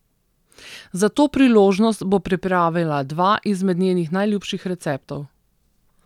Za to priložnost bo pripravila dva izmed njenih najljubših receptov.